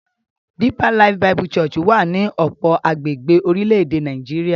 Deeper Life Bible Church wà ní ọ̀pọ̀ agbègbè orílẹ̀-èdè Nàìjíríà.